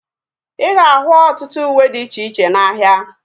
Ịga ahu ọtụtụ uwe dị iche iche n'ahia